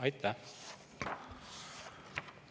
Aitäh!